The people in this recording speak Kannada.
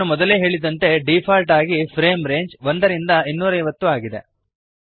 ನಾನು ಮೊದಲೇ ಹೇಳಿದಂತೆ ಡೀಫಾಲ್ಟ್ ಆಗಿ ಫ್ರೇಮ್ ರೇಂಜ್ 1 250 ಆಗಿದೆ